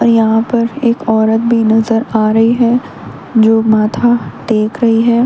अ यहां पर एक औरत भी नजर आ रही है जो माथा टेक रही है।